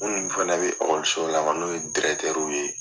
MIinnu fana bɛ ekɔlisow la n'o ye dirɛtɛruw ye